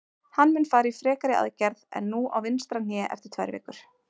Hann mun fara í frekari aðgerð en nú á vinstra hné eftir tvær vikur.